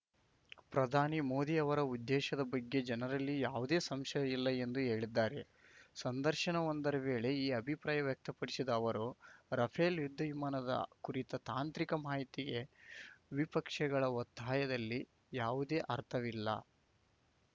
ಪ್ರಧಾನಿ ಮೋದಿ ಅವರ ಉದ್ದೇಶದ ಬಗ್ಗೆ ಜನರಲ್ಲಿ ಯಾವುದೇ ಸಂಶಯ ಇಲ್ಲ ಎಂದು ಹೇಳಿದ್ದಾರೆ ಸಂದರ್ಶನವೊಂದರ ವೇಳೆ ಈ ಅಭಿಪ್ರಾಯ ವ್ಯಕ್ತಪಡಿಸಿದ ಅವರು ರಫೇಲ್‌ ಯುದ್ಧ ವಿಮಾನದ ಕುರಿತ ತಾಂತ್ರಿಕ ಮಾಹಿತಿಗೆ ವಿಪಕ್ಷಗಳ ಒತ್ತಾಯದಲ್ಲಿ ಯಾವುದೇ ಅರ್ಥವಿಲ್ಲ